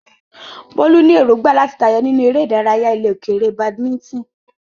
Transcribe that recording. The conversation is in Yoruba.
Bolu ní èrògbà láti tayọ nínú eré ìdárayá ilẹ̀ òkèèrè badminton.